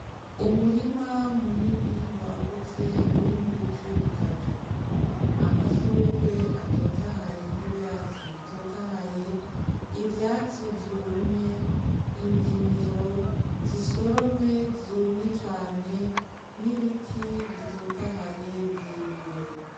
Umurima munini wagutse urimwo ibice bitatu: amashurwe atotahaye n'ivyatsi bitotahaye, ivyatsi vyumye, indimiro zisoromwe zumye cane n'ibiti bitotahaye birebire.